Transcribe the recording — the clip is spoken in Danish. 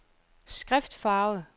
skriftfarve